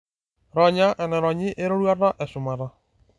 Ronya enaironyi eroruata eshumata.